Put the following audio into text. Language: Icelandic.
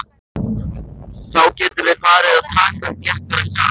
Þá getum við farið að taka upp léttara hjal!